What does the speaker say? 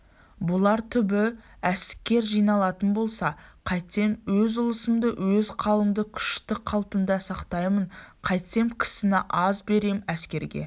бұлар түбі әскер жиналатын болса қайтсем өз ұлысымды өз қаламды күшті қалпында сақтаймын қайтсем кісіні аз берем әскерге